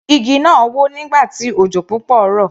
Igi náà wó nígbà tí òjò púpọ̀ rọ̀.